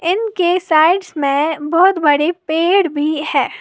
इनके साइड्स में बहुत बड़े पेड़ भी है।